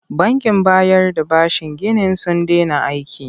Bankin bayar da bashin ginin sun dena aiki.